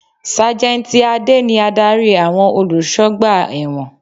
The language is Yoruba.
Sájẹ́ntì Adé ni Ádárì àwọn olùsọgbà ẹ̀wọ̀n.